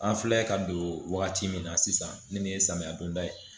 An filɛ ka don wagati min na sisan nin de ye samiya donda ye